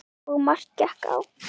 Og margt gekk á.